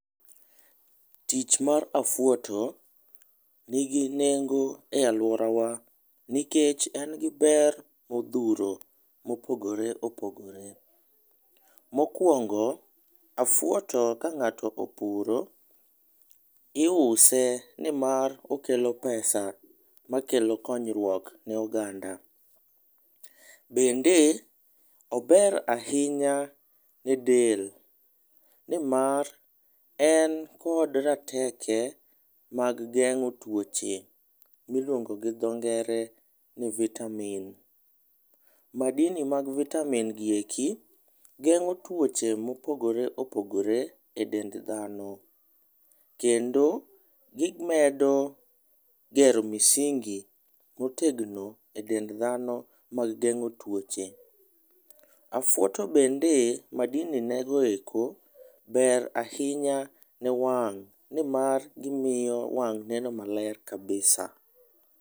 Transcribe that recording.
Tich mar afwoto ni gi nengo e aluora wa nikech en gi ber ma odhuro ma opogore opogore. Mokuongo, afwoto ka ng'ato opuro iuse ni mar okelo pesa ma kelo konyruok ne oganda. Bende ober ahinya ne del ni mar en kod rateke mag geng'o twoche mi iluono gi dho ngere ni vitamin. Madini mag vitamin gi eki geng'o twoche ma opogore opogore e dend dhano kendo gi medo gero misingi ma otegno e dend dhano mag geng'o twoche. Afwoto bende madini nego eko ber ahinya ne wang' ni mar gi miyo wang' neno ma ber kabisa.